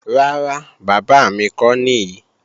Rárá, bábà mi kọ́ nìí